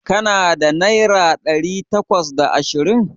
Ka na da naira ɗari bakwai da ashirin?